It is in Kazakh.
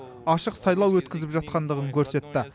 ашық сайлау өткізіп жатқандығын көрсетті